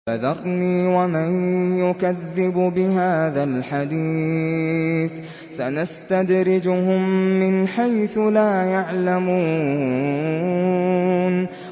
فَذَرْنِي وَمَن يُكَذِّبُ بِهَٰذَا الْحَدِيثِ ۖ سَنَسْتَدْرِجُهُم مِّنْ حَيْثُ لَا يَعْلَمُونَ